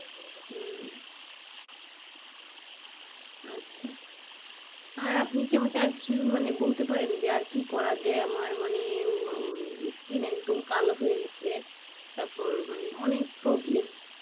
হম আচ্ছা আর আপনি কি আমাকে আরকিছু মানে বলতে পারেন যে আর কি করা যায় আমার মানে উম skin একদম কালো হয়ে গিয়েছে তারপরে মানে অনেক problem,